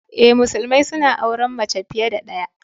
Eh, musulmai suna auren mace fiye da ɗaya.